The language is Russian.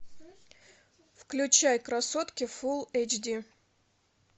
включай красотки фулл эйч ди